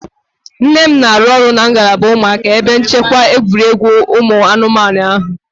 Nne m na-arụ ọrụ na ngalaba ụmụaka n'ebe nchekwa egwuregwu ụmụ anụmanụ ahụ